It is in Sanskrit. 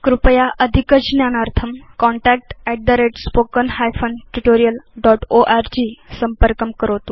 कृपया अधिकज्ञानार्थं contact at spoken hyphen tutorial dot org संपर्कं करोतु